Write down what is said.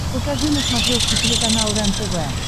покажи на смотрешке телеканал рентв